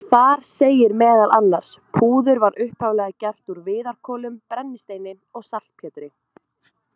Þar segir meðal annars: Púður var upphaflega gert úr viðarkolum, brennisteini og saltpétri.